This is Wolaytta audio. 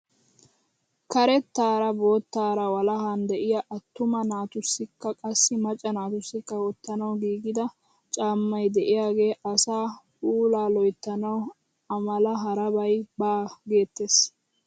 Karettaara boottara walahan de'iyaa attuma naatusikka qassi macca naatussi wottanawu giigida caammay de'iyaage asaa puulaa loyttanawu a mala harabay baa geettees.